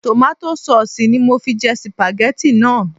Tòmátò saùsì ni mo fi jẹ sìpàgẹ́tì náà